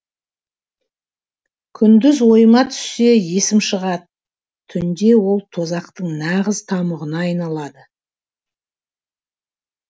күндіз ойыма түссе есім шығады түнде ол тозақтың нағыз тамұғына айналады